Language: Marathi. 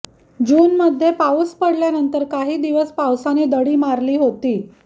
जूनमध्ये पाऊस पडल्यानंतर काही दिवस पावसाने दडी मारली होती